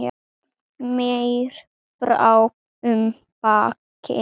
Mér brá um daginn.